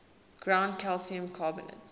ground calcium carbonate